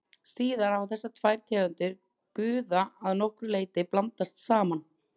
síðar hafa þessar tvær tegundir guða að nokkru leyti blandast saman